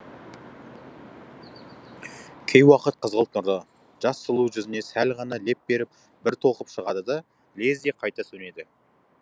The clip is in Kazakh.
кей уақыт қызғылт нұры жас сұлу жүзіне сәл ғана леп беріп бір толқып шығады да лезде қайта сөнеді